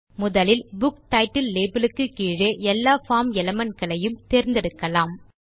முதலில் book title label க்கு கீழே எல்லா பார்ம் எலிமெண்ட் களையும் தேர்ந்தெடுக்கலாம்